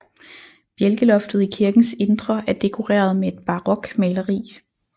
Bjælkeloftet i kirkens indre er dekoreret med et barokmaleri